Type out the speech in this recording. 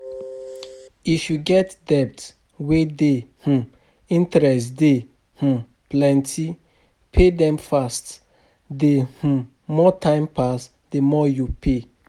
If you get debt wey di um interest dey um plenty, pay dem fast, di um more time pass di more you pay